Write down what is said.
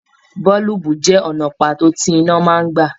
Boolubu jẹ ọnà pàtó tí iná máa n gbà.